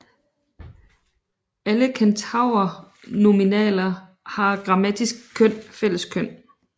Alle kentaurnominaler har grammatisk køn fælleskøn